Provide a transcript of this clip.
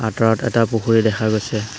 আঁতৰত এটা পুখুৰী দেখা গৈছে।